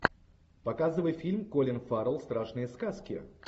показывай фильм колин фаррелл страшные сказки